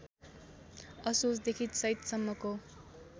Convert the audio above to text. असोजदेखि चैतसम्मको